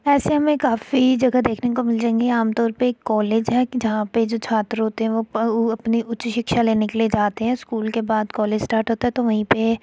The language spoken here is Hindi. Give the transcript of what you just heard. ऐसे में काफी जगह देखने को मिल जाएंगे आमतौर पर कॉलेज है। जहाँ पर जो छात्र होते हैं वह अपनी उच्च शिक्षा लेने के लिए जाते हैं। स्कूल के बाद कॉलेज स्टार्ट होता है तो वहीं पे --